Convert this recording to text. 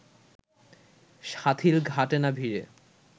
শাথিল ঘাটে না ভিড়ে